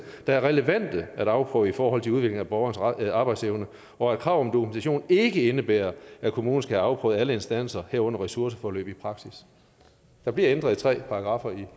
der er relevante at afprøve i forhold til udvikling af borgerens arbejdsevne og at krav om dokumentation ikke indebærer at kommunen skal have afprøvet alle instanser herunder ressourceforløb i praksis der bliver ændret i tre paragraffer